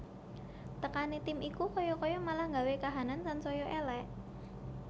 Tekane tim iku kaya kaya malah nggawe kahanan sansaya elek